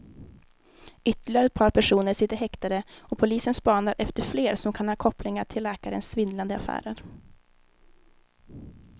Ytterligare ett par personer sitter häktade och polisen spanar efter fler som kan ha kopplingar till läkarens svindlande affärer.